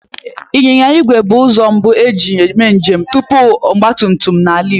Ịnyịnya igwe bụ ụzọ mbu e ji eme njem tupu ọgbatumtum n'ala Igbo